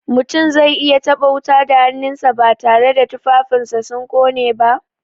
Mutum zai iya taɓa wuta da hannunsa, batare da tufafinsa sun ƙone ba?